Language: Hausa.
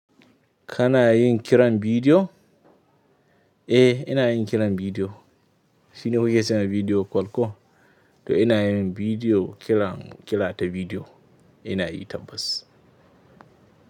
Kana yin kiran bidiyo? Eh ina yin kiran bidiyo. Shine kuke ce wa bidiyo call ko? To ina yin bidiyo kiran, kira ta bidiyo. Ina yi tabbas.